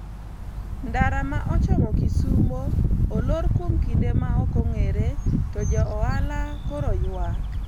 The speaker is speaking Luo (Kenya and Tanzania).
ndara ma ochomo kisumo olor kuom kinde ma ok ong'ere to jo ohala koro ywak